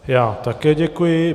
Já také děkuji.